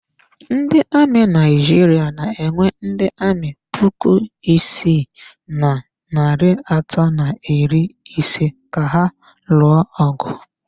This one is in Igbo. Ndị amị Naijiria na-ewe ndị amị puku isii na narị atọ na iri ise ka ha lụọ ọgụ.